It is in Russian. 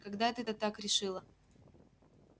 когда это ты так решила